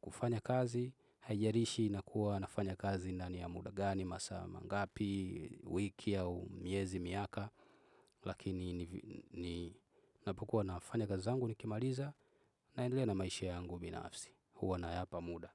kufanya kazi, haijarishi na kuwa nafanya kazi na ni ya muda gani, masaa mangapi, wiki au miezi miaka. Lakini napokua nafanya kazi zangu nikimaliza na endelea na maisha yangu binafsi. Huwa na yapa muda.